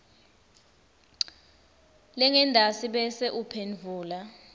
lengentasi bese uphendvula